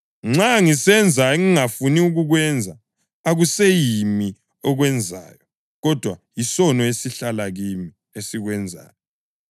Nxa ngisenza engingafuni kukwenza, akuseyimi okwenzayo, kodwa yisono esihlala kimi esikwenzayo.